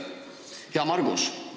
Hea Margus!